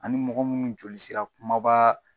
Ani mɔgɔ munnu joli sira kumaba